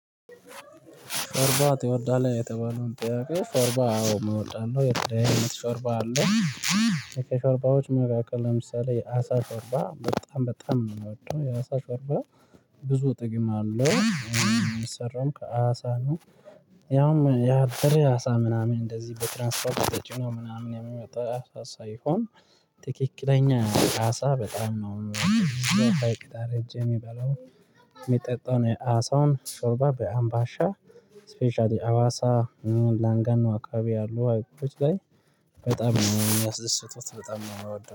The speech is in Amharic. ሾርባ ትወዳለህ የተባለውን ጥያቄ ሾርባ አዎ እምወዳለው የተለያየ አይነት ሾርባ አለ። ከሾርባዎች መካክል ለምሳሌ የአሳ ሾርባ በጣም በጣም ነው የምወደው የአሳ ሾርባ። ብዙ ጥቅም አለው የሚሰራውም ከአሳ ነው። ያውም ያበደ አሳ ምናምን እንደዚህ በትራንስፖርት ተጭኖ ምናምን የሚመጣ አሳ ሳይሆን ትክክለኛ አሳ በጣም ነው። የሚበላው የሚጠጣውን አሳውን ሾርባ በአምባሻ ስፔሻሊ አዋሳ። ላንጋኖ አካባቢ ያሉ ሀይቆች ላይ በጣም ነው የሚያስደስቱት በጣም ነው ምወደው